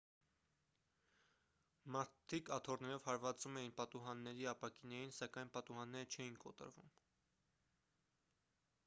մարդիկ աթոռներով հարվածում էին պատուհանների ապակիներին սակայն պատուհանները չէին կոտրվում